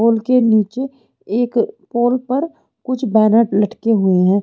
पोल के नीचे एक पोल पर कुछ बैनर लटके हुए हैं।